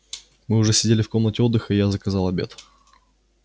мы уже сидели в комнате отдыха и я заказал обед